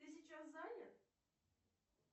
ты сейчас занят